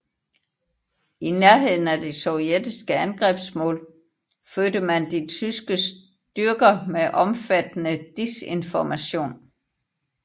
I nærheden af de sovjetiske angrebsmål fødte man de tyske styrker med omfattende disinformation